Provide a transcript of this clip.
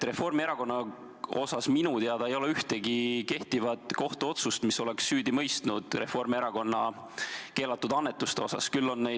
Reformierakonna kohta ei ole minu teada ühtegi kehtivat kohtuotsust, mis oleks Reformierakonna keelatud annetuste eest süüdi mõistnud.